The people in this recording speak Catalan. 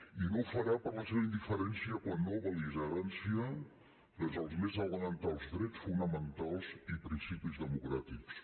i no ho farà per la seva indiferència quan no bel·ligerància vers els més elementals drets fonamentals i principis democràtics